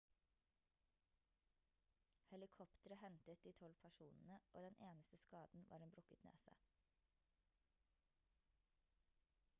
helikoptre hentet de 12 personene og den eneste skaden var en brukket nese